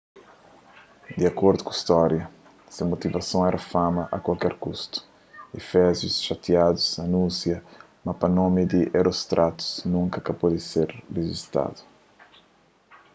di akordu ku stória se motivason éra fama a kualker kustu efésius xatiadu anúnsia ma pa nomi di herostratus nunka pa ka ser rijistadu